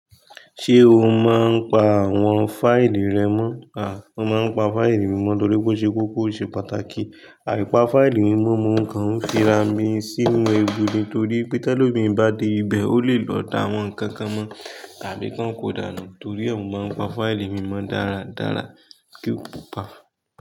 Ṣé o máa ń pa àwọn fáìlì rẹ mọ́? À, mo máa ń pa fáìlì mi mọ́ torí pé ó ṣe kókó ó ṣe pàtàkì. Àìpá fáìlì mímọ́ mo kan ń fi ra mi sínú egbò ni torí pé tẹ́lẹ̀ tí ọmọ mi bá dé ibẹ̀, ó lè lọ da àwọn nǹkan kan mọ́ tàbí kí wọ́n kò dáná torí ọ̀ún máa ń pa fáìlì mi mọ́ dáradára kí ó kò pa.